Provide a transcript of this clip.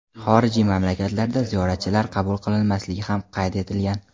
xorijiy mamlakatlardan ziyoratchilar qabul qilinmasligi ham qayd etilgan.